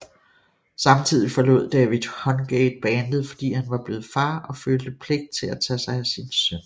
Samtidig forlod David Hungate bandet fordi han var blevet far og følte pligt til at tage sig af sin søn